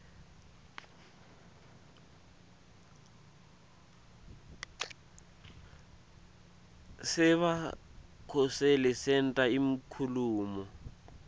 sebakhoseli senta inkhulumo